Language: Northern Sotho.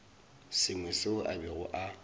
sengwe seo a bego a